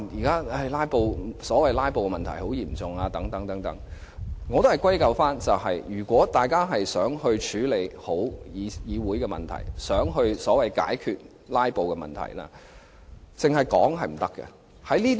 他說如今所謂的"拉布"問題十分嚴重，我會認為大家都想好好處理議會的問題，想解決所謂的"拉布"問題，但空談是沒用的。